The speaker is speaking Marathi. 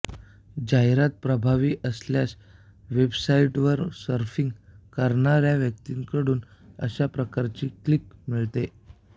जाहिरात प्रभावी असल्यास वेबसाईटवर सर्फिंग करणाऱ्या व्यक्तीकडून अशा प्रकारची क्लिक मिळते